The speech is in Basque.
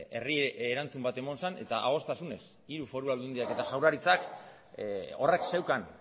herri erantzun bat eman zen eta adostasunez hiru foru aldundiak eta jaurlaritzak horrek zeukan